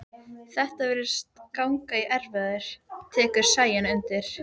Þetta virðist ganga í erfðir, tekur Sæunn undir.